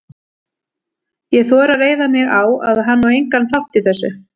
Ég þori að reiða mig á, að hann á engan þátt í þessu.